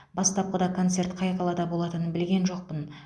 бастапқыда концерт қай қалада болатынын білген жоқпын